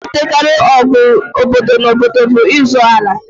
Ihe na-ebutekarị ọgụ obodo na obodo bụ ịzọ ala